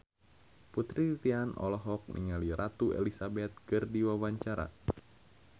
Putri Titian olohok ningali Ratu Elizabeth keur diwawancara